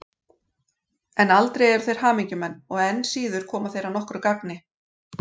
En aldrei eru þeir hamingjumenn og enn síður koma þeir að nokkru gagni.